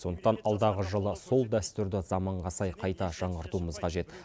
сондықтан алдағы жылы сол дәстүрді заманға сай қайта жаңғыртуымыз қажет